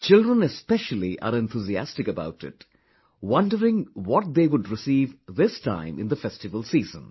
Children especially are enthusiastic about it, wondering what they would receive this time in the festival season